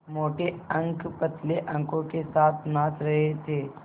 मोटे अंक पतले अंकों के साथ नाच रहे थे